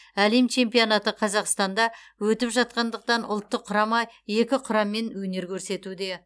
әлем чемпионаты қазақстанда өтіп жатқандықтан ұлттық құрама екі құраммен өнер көрсетуде